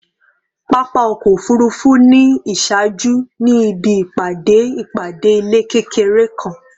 Papa ọkọ ofurufu ni iṣaaju ni ibi ipade ipade ilẹ kekere kan